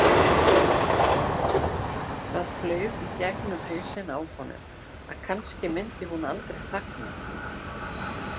Það flaug í gegnum hausinn á honum að kannski myndi hún aldrei þagna.